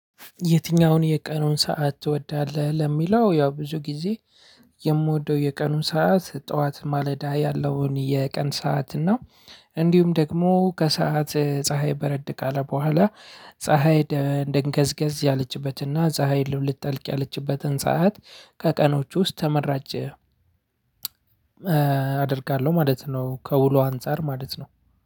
የትኛውን የቀኑን ሰዓት ትወዳለህ? ለሚለው ያው ብዙ ጊዜ። የምወደው የቀኑን ሰዓት ጠዋት ማለዳ ያለውን የቀን ሰዓት እና እንዲሁም ደግሞ ከሰአት ፀሀይ በረድ ካለ በኋላ ፀሀይ እንደንገዝገዝ ያለችበትና ፀሀይ ልብልጥ ጠልቅ ያለችበትን ሰዓት ከቀኖቹ ውስጥ ተመራጭ አደርጋለሁ ማለት ነው። ከውሎ አንፃር ማለት ነው።